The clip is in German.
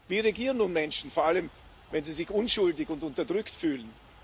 Wie reagieren nun Menschen, vor allem, wenn sie sich unschuldig und unterdrückt fühlen?